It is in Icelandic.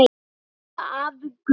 Elsku afi Gunni.